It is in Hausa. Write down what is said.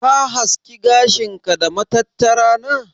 Ka haski gashin ka da matattara na?